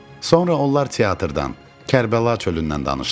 Sonra onlar teatrdan, Kərbəla çölündən danışdılar.